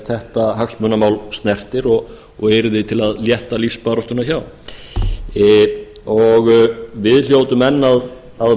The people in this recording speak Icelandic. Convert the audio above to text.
þetta hagsmunamál snertir og yrði til að létta lífsbaráttuna hjá við hljótum enn að